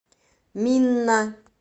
минна